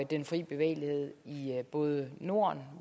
den frie bevægelighed i både norden